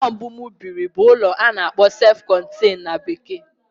Ụlọ mbụ m biri bụ ulo ana akpoo sef contain na bekee.